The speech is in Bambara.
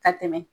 Ka tɛmɛ